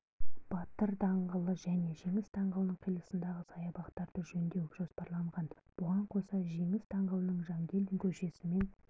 батыр даңғылы және жеңіс даңғылының қиылысындағы саябақтарды жөндеу жоспарланған бұған қоса жеңіс даңғылының жангелдин көшесімен